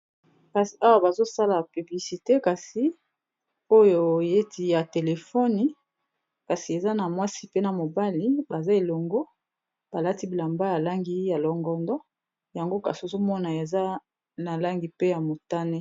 Kasi awa bazosala publicite kasi oyo oyeti ya telefone kasi eza na mwasi pe na mobali baza elongo balati bilamba ya langi ya longondo yango kasi ozomona eza na langi pe ya motane